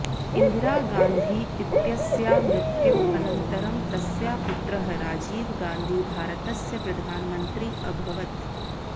इन्दिरा गान्धी इत्यस्याः मृत्योः अनन्तरं तस्याः पुत्रः राजीव गान्धी भारतस्य प्रधानमन्त्री अभवत्